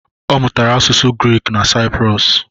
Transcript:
Ọ mụtara asụsụ Griik na Sayiprọs